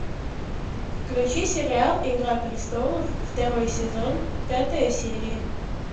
включи сериал игра престолов второй сезон пятая серия